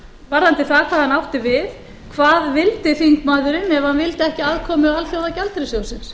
varðandi það hvað hann átti við hvað vildi þingmaðurinn ef hann vildi ekki aðkomu alþjóðagjaldeyrissjóðsins